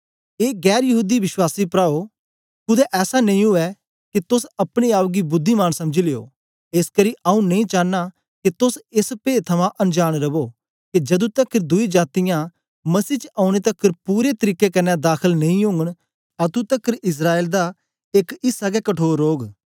ए गैर यहूदी विश्वासी प्राओ कूदें ऐसा नेई उवै के तोस अपने आप गी बुद्धिमान समझी लियो एसकरी आऊँ नेई चानां के तोस एस पेद थमां अनजांन रवो के जदू तकर दुई जातीयां मसीह च औने तकर पूरे तरीके कन्ने दाखल नेई ओगन अतुं तकर इस्राएल दा एक ऐसा गै कठोर रौग